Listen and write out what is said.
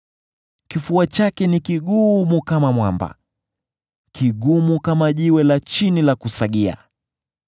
Kifua chake ni kigumu kama mwamba, kigumu kama jiwe la chini la kusagia.